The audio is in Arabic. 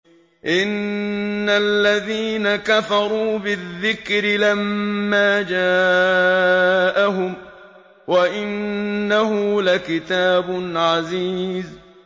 إِنَّ الَّذِينَ كَفَرُوا بِالذِّكْرِ لَمَّا جَاءَهُمْ ۖ وَإِنَّهُ لَكِتَابٌ عَزِيزٌ